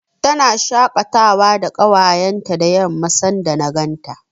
Tana shaƙatawa da ƙawayenta da yamma, sanda na ganta.